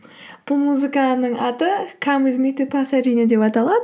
бұл музыканың аты кам уиз ми ту пасадена деп аталады